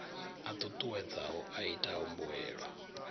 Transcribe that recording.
a ṱuṱuwedzaho a itaho mbuelo